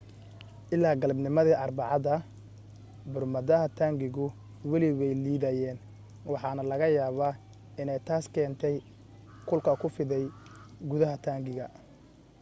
ilaa galabnimadii arbacada burmadaha taangigu weli way liidayeen waxaana laga yaaba inay taas keentay kulka ku fiday gudaha taangiga